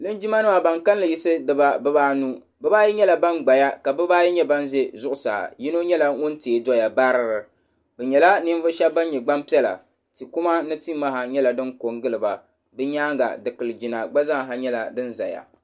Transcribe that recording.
Linjimanima ban kalinli yiɣisi bibaanu bibaayi nyɛla ban gbaya ka bibaayi nyɛ ban ʒe zuɣusaa yino nyɛla ŋun teei doya baari bɛ nyɛla ninvuɣushɛba ban nyɛ gbampiɛla tikuma ni timaha nyɛla di ko n-gili ba bɛ nyaaŋa dikilijina gba nyɛla sin zaya.